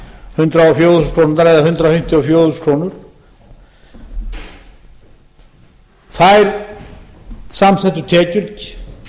hundrað og fjögur þúsund krónur eða hundrað fimmtíu og fjögur þúsund krónur þær samþykktu tekjur